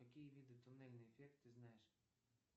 какие виды туннельный эффект ты знаешь